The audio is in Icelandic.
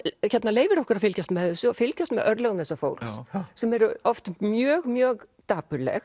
leyfir okkur að fylgjast með þessu og fylgjast með örlögum þessa fólks sem eru oft mjög mjög dapurleg